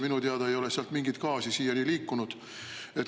Minu teada ei ole sealt mingit gaasi siiani liikunud.